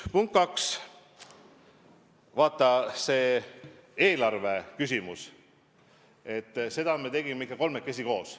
Punkt 2: vaata, eelarvet me tegime ikka kolmekesi koos.